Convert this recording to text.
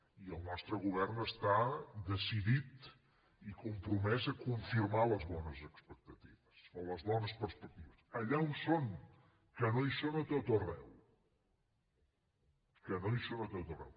i el nostre govern està decidit i compromès a confirmar les bones perspectives allà on són que no hi són a tot arreu que no hi són a tot arreu